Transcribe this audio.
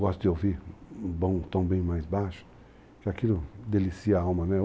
Gosto de ouvir um tom bem mais baixo, porque aquilo delicia a alma, né?